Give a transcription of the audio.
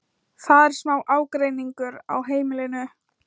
Það er smá ágreiningur á heimilinu.